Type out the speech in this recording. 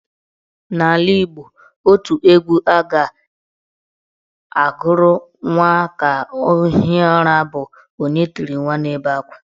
In Igbo land, otu egwu a ga-agụrụ nwa ka o hie ụra bụ " Onye tiri nwa na-ebe akwa"